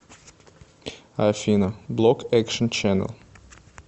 афина блок экшен ченнэл